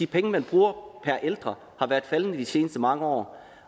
penge man bruger per ældre har været faldende de seneste mange år